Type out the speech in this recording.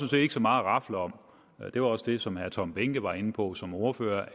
set ikke så meget at rafle om og det var også det som herre tom behnke var inde på som ordfører